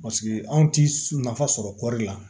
Paseke anw ti nafa sɔrɔ kɔɔri la